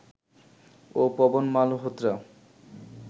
ও Pawan Malhotra